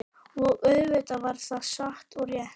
Og auðvitað var það satt og rétt.